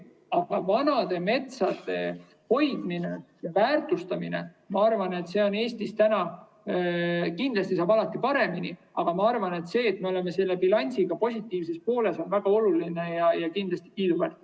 Aga vanade metsade hoidmine ja väärtustamine – ma arvan, et kindlasti saab alati paremini, aga see, et me oleme selle bilansiga positiivses pooles, on väga oluline ja kiiduväärt.